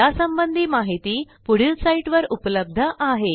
यासंबंधी माहिती पुढील साईटवर उपलब्ध आहे